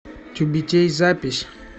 тюбетей запись